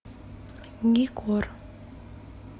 гикор